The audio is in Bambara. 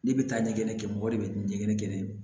Ne bɛ taa ɲɛgɛn kɛ mɔgɔ de bɛ taa ɲɛgɛn